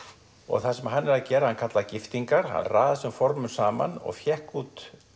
það sem hann gerði hann kallaði þetta giftingar hann raðaði þessum formum saman og fékk út